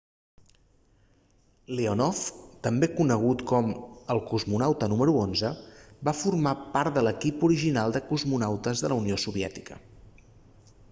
leonov també conegut com el cosmonauta número 11 va formar part de l'equip original de cosmonautes de la unió soviètica